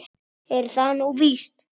Er það nú víst ?